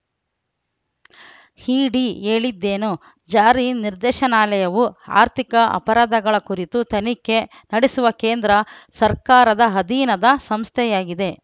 ಇಡಿ ಹೇಳಿದ್ದೇನು ಜಾರಿ ನಿರ್ದೇಶನಾಲಯವು ಆರ್ಥಿಕ ಅಪರಾಧಗಳ ಕುರಿತು ತನಿಖೆ ನಡೆಸುವ ಕೇಂದ್ರ ಸರ್ಕಾರದ ಅಧೀನದ ಸಂಸ್ಥೆಯಾಗಿದೆ